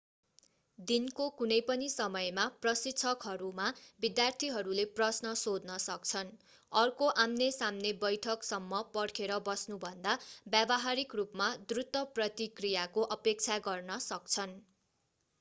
दिनको कुनै पनि समयमा प्रशिक्षकहरूमा विद्यार्थीहरूले प्रश्न सोध्न सक्छन् अर्को आमने सामने बैठक सम्म पर्खेर बस्नु भन्दा व्यावहारिक रूपमा द्रुत प्रतिक्रियाको अपेक्षा गर्न सक्छन्